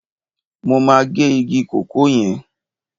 Mo máa gé igi kòkó yẹn.